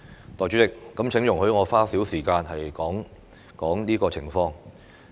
代理主席，請容許我花少許時間談談這個情況。